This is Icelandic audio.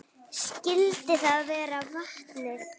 Skyldi það vera vatnið?